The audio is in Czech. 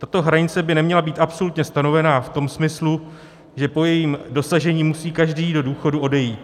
Tato hranice by neměla být absolutně stanovená v tom smyslu, že po jejím dosažení musí každý do důchodu odejít.